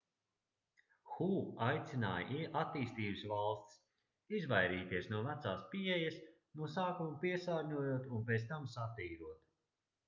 hu aicināja attīstības valstis izvairīties no vecās pieejas no sākuma piesārņojot un pēc tam satīrot